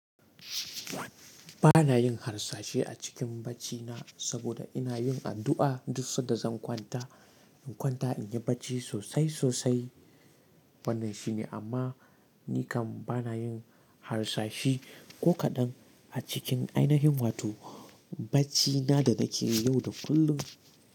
Ba na yin harsashi a cikin baccina saboda ina yin addu'a duk sai da zan kwanta. In kwanta in yi bacci sosai sosai, wannan shine, amma ni kam ba na yin harsashi ko kaɗan a cikin ainihin wato bacina da nake yau da kullum.